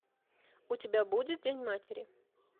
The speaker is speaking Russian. у тебя будет день матери